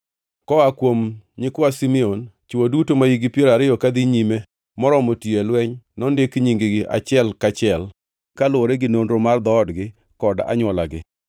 Koa kuom nyikwa Simeon: Chwo duto mahikgi piero ariyo kadhi nyime moromo tiyo e lweny nondik nying-gi, achiel kaachiel, kaluwore gi nonro mar dhoodgi kod anywolagi.